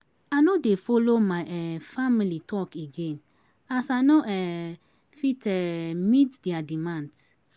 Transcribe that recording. I no dey folo my um family talk again as I no um fit um meet there demands.